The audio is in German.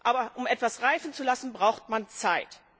Aber um etwas reifen zu lassen, braucht man Zeit.